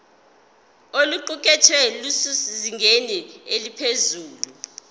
oluqukethwe lusezingeni eliphezulu